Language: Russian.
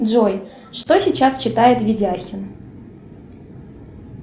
джой что сейчас читает видяхин